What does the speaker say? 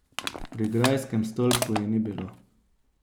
Pri grajskem stolpu je ni bilo.